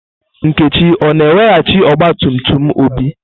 Nkechi o-na eweghachi ọgba tum tum Obi?